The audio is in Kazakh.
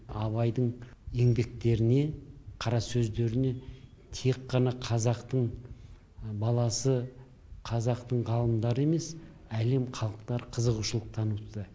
абайдың еңбектеріне қара сөздеріне тек қана қазақтың баласы қазақтың ғалымдары емес әлем халықтары қызығушылық танытуда